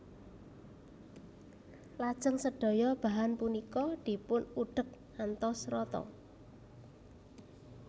Lajeng sedaya bahan punika dipun udhek ngantos rata